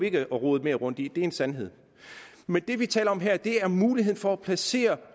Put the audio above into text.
ikke at rode mere rundt i det det er en sandhed men det vi taler om her er muligheden for at placere